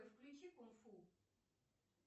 включи кунг фу